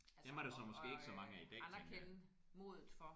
Dem er der så måske ikke så mange af i dag tænker jeg